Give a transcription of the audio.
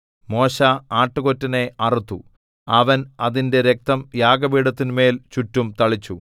മോശെ ആട്ടുകൊറ്റനെ അറുത്തു അവൻ അതിന്റെ രക്തം യാഗപീഠത്തിന്മേൽ ചുറ്റും തളിച്ചു